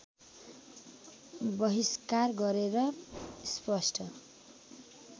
वहिष्कार गरेर स्पष्ट